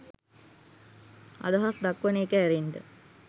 අදහස් දක්වන එක ඇරෙන්න